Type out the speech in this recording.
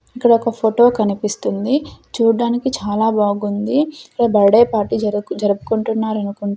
ఇక్కడొక ఫోటో కనిపిస్తుంది చూడడానికి చాలా బాగుంది ఇక్కడ బర్డే పార్టీ జరుపు జరుపుకుంటున్నారనుకుంటా--